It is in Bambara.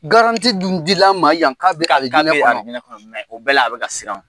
dun dil'a ma yan k'a bɛ alijinƐ kƆnƆ o bɛɛ la a bɛ ka siran.